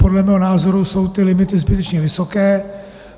Podle mého názoru jsou ty limity zbytečně vysoké.